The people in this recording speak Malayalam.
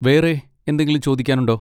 വേറെ എന്തെങ്കിലും ചോദിക്കാനുണ്ടോ?